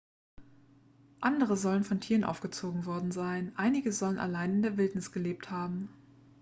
andere sollen von tieren aufgezogen worden sein einige sollen allein in der wildnis gelebt haben